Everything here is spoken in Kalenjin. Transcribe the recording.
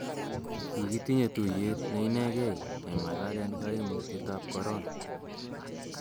kikitinye tuiyet ne inekei keng'alalen kaimutietab korona